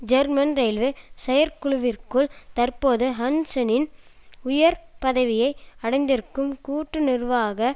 German railway செயற்குழுவிற்குள் தற்போது ஹன்சென்னின் உயர் பதவியை அடைந்திருக்கும் கூட்டு நிர்வாக